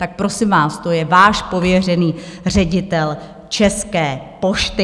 Tak prosím vás, to je váš pověřený ředitel České pošty.